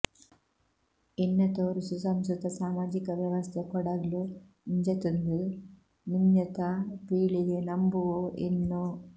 ಇನ್ನತೋರ್ ಸುಸಂಸ್ಕೃತ ಸಾಮಾಜಿಕ ವ್ಯವಸ್ಥೆ ಕೊಡಗ್ಲ್ ಇಂಜತ್ಂದ್ ಮಿಂಞತ ಪೀಳಿಗೆ ನಂಬುವೋ ಎನ್ನೋ